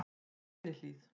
Grenihlíð